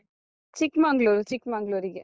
Chikmagalur, Chikmagalur ರಿಗೆ.